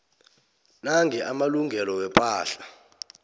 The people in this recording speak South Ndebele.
nange amalungelo wepahla